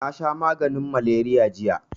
Nasha maganin maleriya jiya